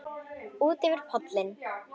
Útyfir pollinn